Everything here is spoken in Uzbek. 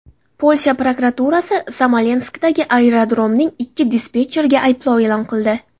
Polsha prokuraturasi Smolenskdagi aerodromning ikki dispetcheriga ayblov e’lon qildi.